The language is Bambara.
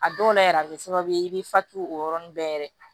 A dɔw la yɛrɛ a bɛ kɛ sababu ye i bɛ fatu o yɔrɔnin bɛɛ